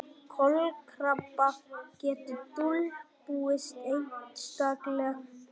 Kolkrabbar geta dulbúist einstaklega vel.